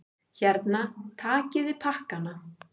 Hérna, takiði pakkana!